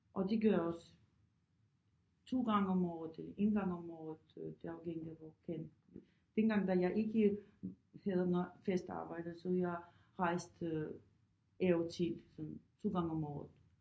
Og det gør jeg også 2 gange om året eller 1 gang om året øh det er afhængigt af hvor kan dengang da jeg ikke havde noget fast arbejde så jeg rejste af og til sådan 2 gange om året